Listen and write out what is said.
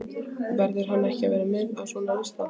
Verður hann ekki að vera með á svona lista?